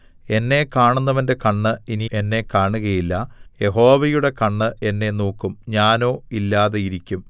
എന്നെ കാണുന്നവന്റെ കണ്ണ് ഇനി എന്നെ കാണുകയില്ല യഹോവയുടെ കണ്ണ് എന്നെ നോക്കും ഞാനോ ഇല്ലാതിരിക്കും